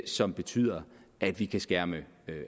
som betyder at vi kan skærme